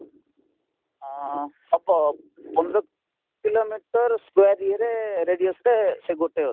ଅଂ ହବ ପନ୍ଦର କିଲୋମିଟର square ଇଏରେ radius ଟେ ସେ ଗୋଟେ ଅଛି